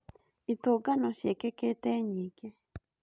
Itũngano ciĩkĩkĩte nyingĩ